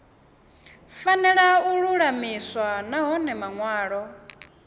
fanela u lulamiswa nahone manwalo